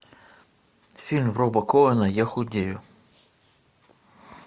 фильм роба коэна я худею